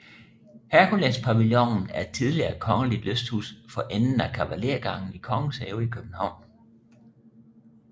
Herkulespavillonen er et tidligere kongeligt lysthus for enden af Kavalergangen i Kongens Have i København